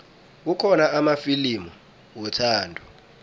kukhona amafilimu wethando